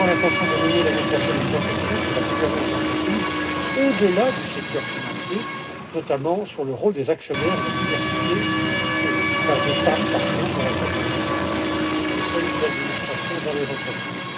J'ai également l'intention de mener l'année prochaine une réflexion sur la gouvernance d'entreprise au delà du secteur financier, notamment sur le rôle des actionnaires et la diversité, la place des femmes, par exemple, dans la composition des conseils d'administration dans les entreprises.